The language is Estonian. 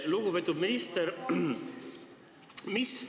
Lugupeetud minister!